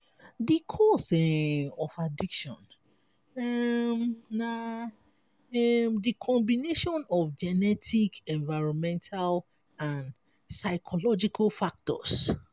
di cause um of addiction um na um di combination of genetic environmental and psychological factors.